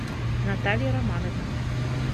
наталья романовна